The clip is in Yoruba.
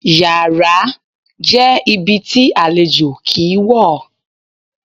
Yàrá jẹ́ ibi tí àlejò kì í wọ̀.